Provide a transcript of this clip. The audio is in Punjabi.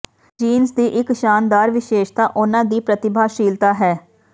ਜੀਨਸ ਦੀ ਇਕ ਸ਼ਾਨਦਾਰ ਵਿਸ਼ੇਸ਼ਤਾ ਉਨ੍ਹਾਂ ਦੀ ਪ੍ਰਤਿਭਾਸ਼ਾਲੀਤਾ ਹੈ